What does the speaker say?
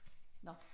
Nåh